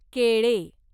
केळे